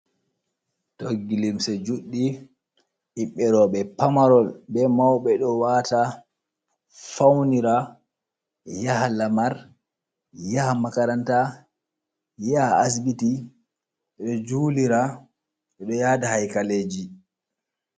Toggi limse juuɗɗi, ɓiɓɓe rooɓe pamarol bee mawɓe ɗo waata , fawnira, yaha lamar, yaha makaranta, yaha asbiti, ɓe ɗo juulira, ɓe ɗo yaada haykaleeji.